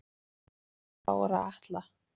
Bára Atla